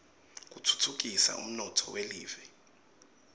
kutfutfukisa umnotfo welive